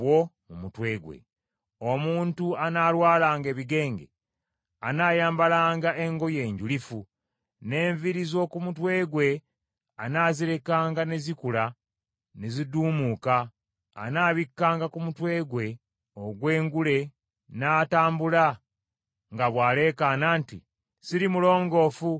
“Omuntu anaalwalanga ebigenge anaayambalanga engoye njulifu, n’enviiri z’oku mutwe gwe anaazirekanga ne zikula ne ziduumuuka, anaabikkanga ku mumwa gwe ogw’engulu n’atambula nga bw’aleekaana nti, ‘Siri mulongoofu! Siri mulongoofu!’